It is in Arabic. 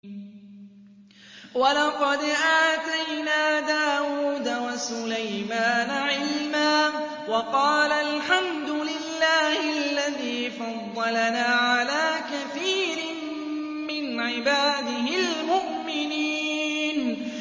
وَلَقَدْ آتَيْنَا دَاوُودَ وَسُلَيْمَانَ عِلْمًا ۖ وَقَالَا الْحَمْدُ لِلَّهِ الَّذِي فَضَّلَنَا عَلَىٰ كَثِيرٍ مِّنْ عِبَادِهِ الْمُؤْمِنِينَ